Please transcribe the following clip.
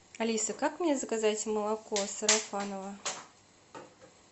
алиса как мне заказать молоко сарафаново